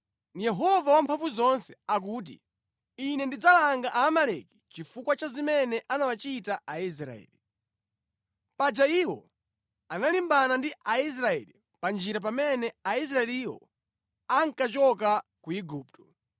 Yehova Wamphamvuzonse akuti, ‘Ine ndidzalanga Aamaleki chifukwa cha zimene anawachita Aisraeli. Paja iwo analimbana ndi Aisraeli pa njira pamene Aisraeliwo ankachoka ku Igupto.